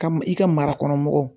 Ka i ka marakɔnɔmɔgɔw